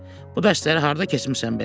Bu dərsləri harda keçmisən belə?